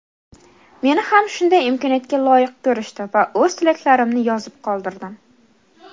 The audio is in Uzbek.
Meni ham shunday imkoniyatga loyiq ko‘rishdi va o‘z tilaklarimni yozib qoldirdim.